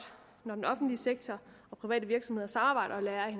når den offentlige sektor og private virksomheder samarbejder og lærer af